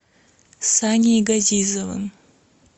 саней газизовым